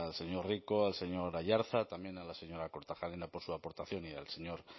señor rico al señor aiartza también a la señora kortajarena por su aportación y al señor